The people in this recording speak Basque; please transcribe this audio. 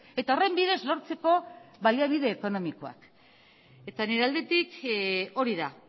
eta horren bidez lortzeko baliabide ekonomikoak nire aldetik hori da